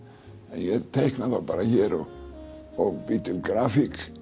en ég teikna þá bara hér og bý til grafík